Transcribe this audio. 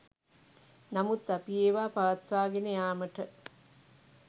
නමුත් අපි ඒවා පවත්වාගෙන යාමට